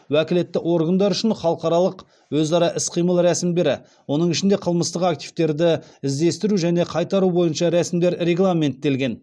уәкілетті органдар үшін халықаралық өзара іс қимыл рәсімдері оның ішінде қылмыстық активтерді іздестіру және қайтару бойынша рәсімдер регламенттелген